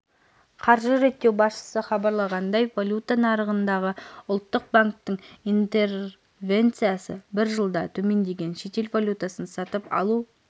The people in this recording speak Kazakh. қаржы реттеу басшысы хабарлағандай валюта нарығындағы ұлттық банктің интервенциясы бір жылда төмендеген шетел валютасын сатып алу